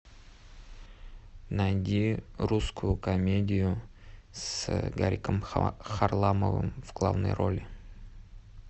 найди русскую комедию с гариком харламовым в главной роли